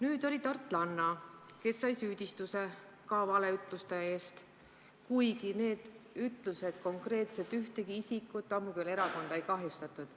Üks tartlanna aga sai valeütluste eest süüdistuse, kuigi need ütlused konkreetselt ühtegi isikut, ammugi veel ühtki erakonda ei kahjustanud.